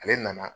Ale nana